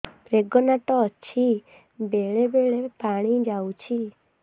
pregnant ଅଛି ବେଳେ ବେଳେ ପାଣି ଯାଉଛି